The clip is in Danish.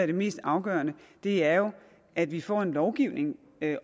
det mest afgørende er jo at vi får en lovgivning